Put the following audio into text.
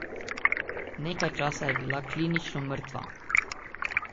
Nekaj časa je bila klinično mrtva.